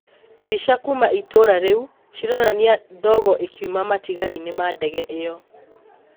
Mbica kuma itũra rĩu cironania ndogo ĩkiuma matigarinĩ ma ndege ĩyo